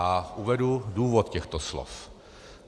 A uvedu důvod těchto slov.